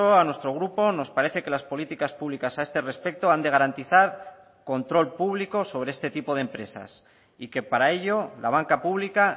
a nuestro grupo nos parece que las políticas públicas a este respecto han de garantizar control público sobre este tipo de empresas y que para ello la banca pública